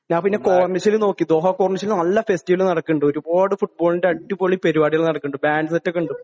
ഞാൻ പിന്നെ കോർണിഷ് ല് നോക്കി, ദോഹ കോർണിഷിൽ ഒക്കെ നല്ല ഫെസ്റ്റിവൽ നടക്കണ്ണ്ട്.ഒരുപാട് ഫുട്ബാളിന്റെ അടിപൊളി പരിപാടികള് നടക്കാനുണ്ട്, ബാൻഡ് സെറ്റ് ഒക്കെയുണ്ട്.